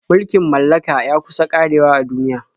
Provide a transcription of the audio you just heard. Mulkin mallaka ya kusa ƙarewa a duniya.